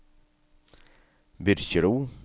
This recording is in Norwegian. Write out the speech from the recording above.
Byrkjelo